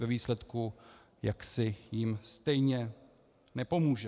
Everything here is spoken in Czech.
Ve výsledku jim totiž stejně nepomůže.